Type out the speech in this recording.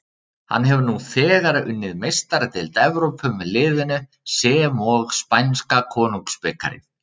Hann hefur nú þegar unnið Meistaradeild Evrópu með liðinu sem og spænska konungsbikarinn.